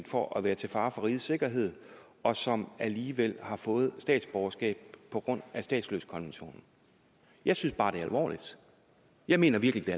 for at være til fare for rigets sikkerhed og som alligevel har fået statsborgerskab på grund af statsløsekonventionen jeg synes bare det er alvorligt jeg mener virkelig